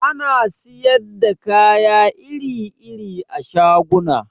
Ana siyar da kaya iri-iri a shaguna